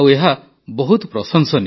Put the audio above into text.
ଏହା ବହୁତ ପ୍ରଶଂସନୀୟ